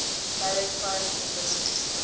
direct foreign investment